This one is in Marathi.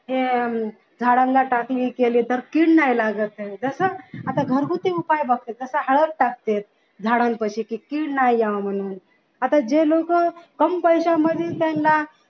हे झाडांना टाचणी केली तर कीड नाही लागत जस आता घरगुती उपाय बघा जस हळद टाकते झाडांपाशी कि कीड नाही यावी म्हणून आता जे लोक कम पैशामध्ये त्यांना